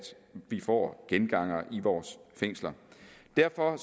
vi ikke får gengangere i vores fængsler derfor